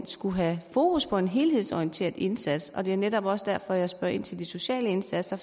skulle have fokus på en helhedsorienteret indsats det er netop også derfor jeg spørger ind til de sociale indsatser